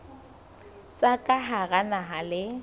tsa ka hara naha le